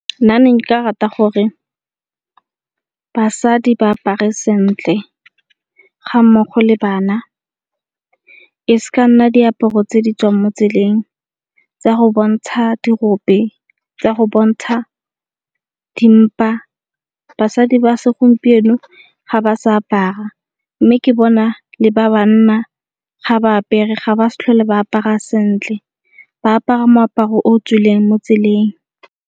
Nna ne nka rata gore basadi ba apare sentle ga mmogo le bana e s'ka nna diaparo tse ditswang mo tseleng tsa go bontsha dirope, tsa go bontsha dimpa. Basadi ba segompieno ga ba sa apara mme ke bona le ba banna ga ba apere ga ba s'tlhole ba apara sentle ba apara moaparo o tswileng mo tseleng.